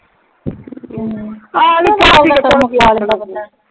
ਹਮ ਆਹੋ ਕੰਮ ਕੀ ਆ .